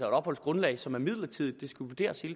opholdsgrundlag som er midlertidigt